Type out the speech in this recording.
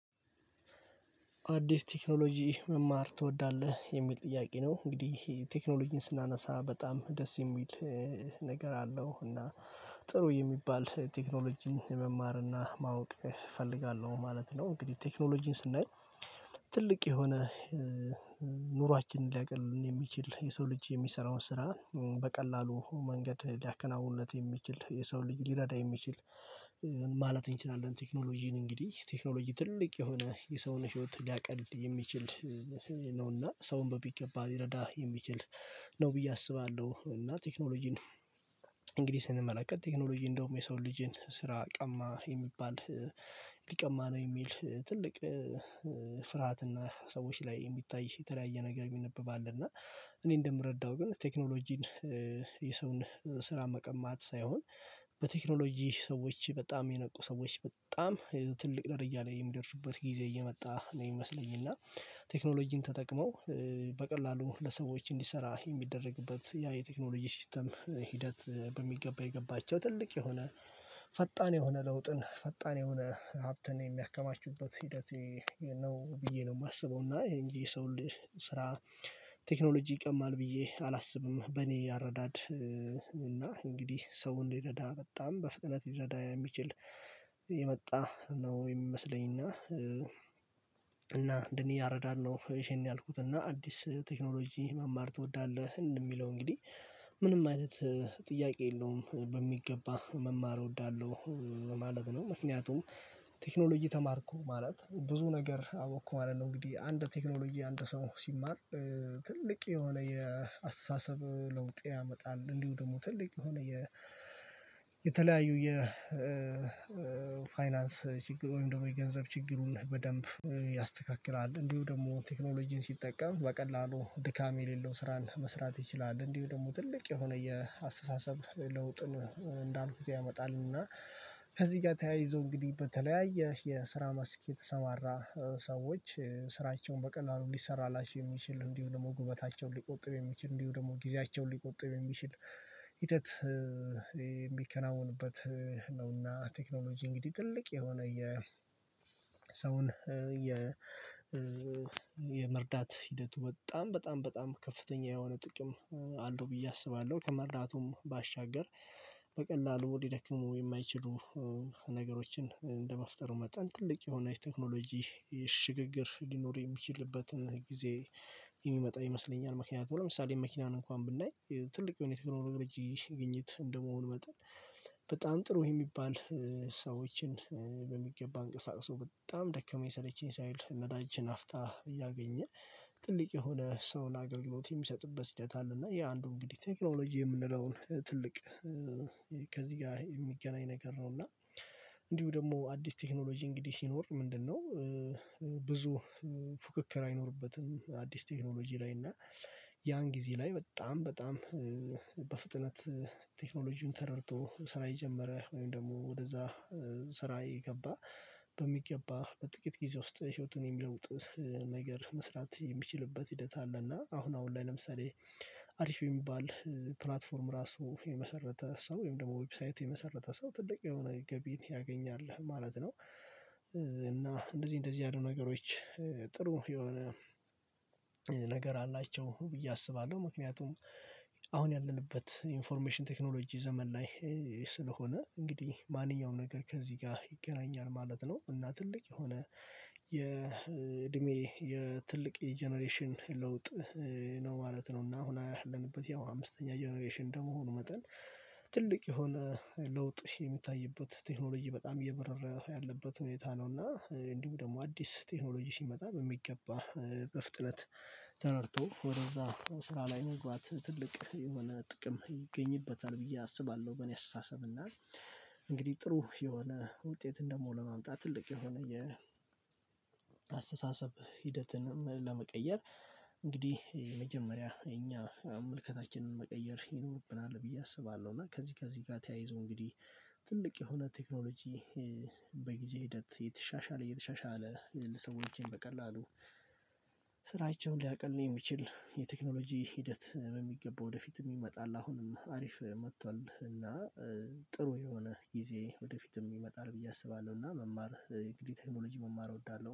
አዲስ ቴክኖሎጂ መማር ትወዳለህ የሚል ጥያቄ ነው? እንግዲህ ቴክኖሎጂን ስናነሳ በጣም ደስ የሚል ነገር አለው እና ጥሩ የሚባል ቴክኖሎጂ መማር እና ማወቅ እፈልጋለሁ ማለት ነው። እንግዲህ ቴክኖሎጂን ስናይ ትልቅ የሆነ ኑሯችንን ሊያቀልልን የሚችል የሰው ልጅ የሚሰራውን ስራ በቀላሉ መንገድ ሊያከናውንለት የሚችል የሰውን ልጅ ሊረዳ የሚችል ማለት እንችላለን። ቴክኖሎጂን እንግዲህ ቴክኖሎጂ ትልቅ የሆነ የሰውን ህይወት ሊያቀል የሚችል ነውና ሰውን በሚገባ ሊረዳ የሚችል ነው ብዬ አስባለሁ። እና ቴክኖሎጂን እንግዲህ ስንመለከት ቴክኖሎጂ እንደውም የሰው ልጅን ስራ ቀማ የሚባል ሊቀማ ነው የሚል ትልቅ ፍርሃትና ሰዎች ላይ የሚታይ የተለያየ ነገር ይነበባል። እና እኔ እንደምረዳው ግን ቴክኖሎጂን የሰውን ስራ መቀማት ሳይሆን በቴክኖሎጂ ሰዎች በጣም የነቁ ሰዎች በጣም ትልቅ ደረጃ ላይ የሚደርሱበት ጊዜ እየመጣ ነው የሚመስለኝ። እና ቴክኖሎጂን ተጠቅመው በቀላሉ ለሰዎች እንዲሰራ የሚደረግበት ያ የቴክኖሎጂ ሲስተም ሂደት በሚገባ የገባቸው ትልቅ የሆነ ፈጣን የሆነ ለውጥን ፈጣን የሆነ ሀብትን የሚያከማቹበት ሂደት ነው ብዬ ነው የማስበው። እና የእንጂ ሰው ስራ ቴክኖሎጂ ይቀማል ብዬ አላስብም በኔ አረዳድ። እና እንግዲህ ሰው እንዲረዳ በጣም በፍጥነት ሊረዳ የሚችል የመጣ ነው የሚመስለኝና እና እንደኔ ያረዳን ነው። ይሄን ያልኩት እና አዲስ ቴክኖሎጂ መማር ትወዳለህ የሚለው እንግዲህ ምንም አይነት ጥያቄ የለውም በሚገባ መማር እወዳለሁ። ማለት ነው ምክንያቱም ቴክኖሎጂ ተማርኩ ማለት ብዙ ነገር አወቅኩ ማለት ነው። እንግዲህ አንድ ቴክኖሎጂ አንድ ሰው ሲማር ትልቅ የሆነ የአስተሳሰብ ለውጥ ያመጣል። እንዲሁም ደግሞ ትልቅ የሆነ የፋይናንስ ችግር ወይም ደግሞ የገንዘብ ችግሩን በደንብ ያስተካክላል እንዲሁ ደግሞ ቴክኖሎጂን ሲጠቀም በቀላሉ ድካም የሌለው ስራን መስራት ይችላል። እንዲሁ ደግሞ ትልቅ የሆነ የአስተሳሰብ ለውጥን እንዳልኩት ያመጣልና። ከዚህ ጋር ተያይዞ እንግዲህ በተለያየ የስራ መስክ የተሰማራ ሰዎች ስራቸውን በቀላሉ እንዲሰራላቸው የሚችል እንዲሆን ደግሞ ጉልበታቸውን ሊቆጥብ የሚችል እንዲሁ ደግሞ ጊዜያቸውን ሊቆጥብ የሚችል ሂደት የሚከናወንበት ነውና። ቴክኖሎጂ እንግዲህ ትልቅ የሆነ የ ሰውን የ የመርዳት ሂደቱ በጣም በጣም በጣም ከፍተኛ የሆነ ጥቅም አለው ብዬ አስባለሁ። ከመርዳቱም ባሻገር በቀላሉ ሊደክሙ የማይችሉ ነገሮችን እንደመፍጠሩ መጠን ትልቅ የሆነ የቴክኖሎጂ ሽግግር ሊኖር የሚችልበትን ጊዜ የሚመጣ ይመስለኛል። ምክንያቱም ለምሳሌ መኪናን እንኳን ብናይ ትልቅ የሆነ የቴክኖሎጂ ግኝት እንደመሆኑ መጠን ጥሩ የሚባል ሰዎችን በሚገባ አንቀሳቅሶ በጣም ደከመኝ ሰለቸኝ ሳይል ነዳጅ ናፍታ እያገኘ ትልቅ የሆነ ሰውን አገልግሎት የሚሰጥበት ሂደት አለ። እና የአንዱ እንግዲህ ቴክኖሎጂ የምንለውን ትልቅ ከዚህ ጋር የሚገናኝ ነገር ነው። እና እንዲሁ ደግሞ አዲስ ቴክኖሎጂ እንግዲህ ሲኖር ምንድነው? ብዙ ፉክክር አይኖርበትም አዲስ ቴክኖሎጂ ላይ እና ያን ጊዜ ላይ በጣም በጣም በፍጥነት ቴክኖሎጂን ተረድቶ ስራ የጀመረ ወይም ደግሞ ወደዛ ስራ የገባ በሚገባ በጥቂት ጊዜ ውስጥ ህይወቱን የሚለውጥ ነገር መስራት የሚችልበት ሂደት አለ። እና አሁን አሁን ላይ ለምሳሌ አሪፍ የሚባል ፕላትፎርም ራሱ የመሰረተ ሰው ወይም ደግሞ ዌብሳይት የመሰረተ ሰው ጥልቅ የሆነ ገቢን ያገኛል ማለት ነው። እና እንደዚህ እንደዚህ ያሉ ነገሮች ጥሩ የሆነ ነገር አላቸው ብዬ አስባለሁ። ምክንያቱም አሁን ያለንበት ኢንፎርሜሽን ቴክኖሎጂ ዘመን ላይ ስለሆነ እንግዲህ ማንኛውም ነገር ከዚህ ጋር ይገናኛል ማለት ነው። እና ትልቅ የሆነ የእድሜ የትልቅ ጀነሬሽን ለውጥ ነው ማለት ነው። እና አሁን ያለንበት ያው አምስተኛ ጀነሬሽን እንደመሆኑ መጠን ትልቅ የሆነ ለውጥ የሚታይበት ቴክኖሎጂ በጣም እየበረረ ያለበት ሁኔታ ነውና። እንዲሁ ደግሞ አዲስ ቴክኖሎጂ ሲመጣ በሚገባ በፍጥነት ተረድቶ ወደዛ ስራ ላይ መግባት ትልቅ የሆነ ጥቅም ይገኝበታል ብዬ አስባለሁ። በእኔ አስተሳሰብ እና እንግዲህ ጥሩ የሆነ ውጤት ደሞ ለማምጣት ትልቅ የሆነ የአስተሳሰብ ሂደትን ለመቀየር እንግዲህ የመጀመሪያ እኛ መልከታችንን መቀየር ይኖርብናል ብዬ አስባለሁ። እና ከዚህ ከዚህ ጋር ተያይዞ እንግዲህ ትልቅ የሆነ ቴክኖሎጂ በጊዜ ሂደት የተሻሻለ እየተሻሻለ ለሰዎችም በቀላሉ ስራቸውን ሊያቅልን የሚችል የቴክኖሎጂ ሂደት በሚገባ ወደፊት ይመጣል። አሁንም አሪፍ መጥቷል እና ጥሩ የሆነ ጊዜ ወደፊትም ይመጣል ብዬ አስባለሁ። እና መማር እንግዲህ ቴክኖሎጂ መማር እወዳለሁ